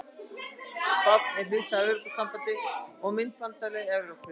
Spánn er hluti af Evrópusambandinu og myntbandalagi Evrópu.